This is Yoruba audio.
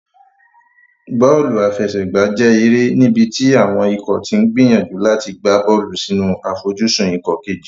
Bọ́ọ̀lù àfẹsẹ̀gbá jẹ́ eré níbi tí àwọn ikọ̀ ti ń gbìyànjú láti gbá bọ́ọ̀lù sínú àfojúsùn ikọ̀ kejì.